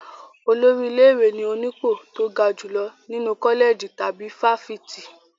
Olórí ilé-ìwé ni onípò tó ga jùlọ nínú kọ́lẹ̀jì tàbí fáfitì.